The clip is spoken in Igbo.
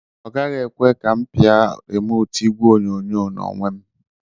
Ọ gaghị ekwe ka m pia rimootu igwe oyonyo n'onwe m